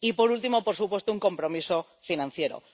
Y, por último, por supuesto, un compromiso financiero